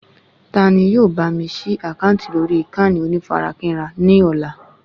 Ta ni yóò bá mi ṣí àkáǹtì lórí ìkànnì onífarakínra ní ọ̀la